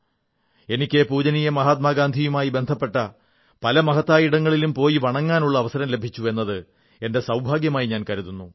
എനിക്ക് പൂജനീയ മഹാത്മാഗാന്ധിയുമായി ബന്ധപ്പെട്ട പല മഹത്തായ ഇടങ്ങളിലും പോയി വണങ്ങാനുള്ള അവസരം ലഭിച്ചു എന്നത് എന്റെ സൌഭാഗ്യായി ഞാൻ കരുതുന്നു